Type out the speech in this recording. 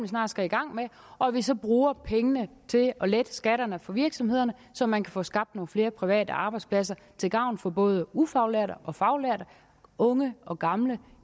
snart skal i gang med og at vi så bruger pengene til at lette skatterne for virksomhederne så man kan få skabt nogle flere private arbejdspladser til gavn for både ufaglærte og faglærte unge og gamle